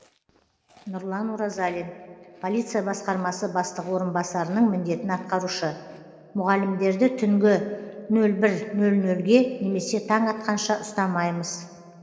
нұрлан оразалин полиция басқармасы бастығы орынбасарының міндетін атқарушы мұғалімдерді түнгі нөл бір нөл нөлге немесе таң атқанша ұстамаймыз